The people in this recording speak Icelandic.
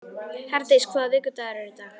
Herdís, hvaða vikudagur er í dag?